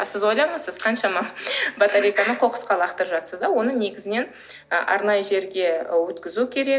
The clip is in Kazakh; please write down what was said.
а сіз ойлаңыз сіз қаншама батарейканы қоқысқа лақтырып жатырсыз да оны негізінен ы арнайы жерге өткізу керек